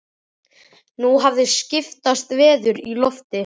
Nú hafði skipast veður í lofti.